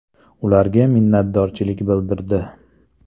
Ularga minnatdorchilik bildirdi.